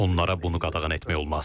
Onlara bunu qadağan etmək olmaz.